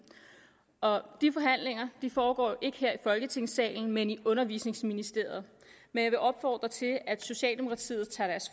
og de forhandlinger foregår jo ikke her i folketingssalen men i undervisningsministeriet men jeg vil opfordre til at socialdemokratiet tager deres